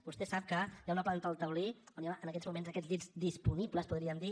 vostè sap que hi ha una planta del taulí on hi ha en aquests moments aquests llits disponibles podríem dir